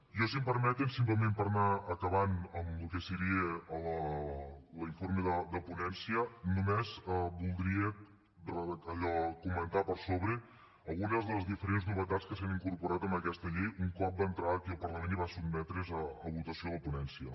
jo si em permeten simplement per anar acabant amb el que seria l’informe de ponència només voldria allò comentar per sobre algunes de les diferents novetats que s’han incorporat en aquesta llei un cop va entrar aquí al parlament i va sotmetre’s a votació a la ponència